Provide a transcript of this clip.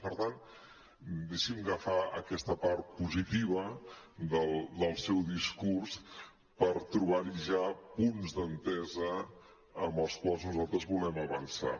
i per tant deixi’m agafar aquesta part positiva del seu discurs per trobar hi ja punts d’entesa en els quals nosaltres volem avançar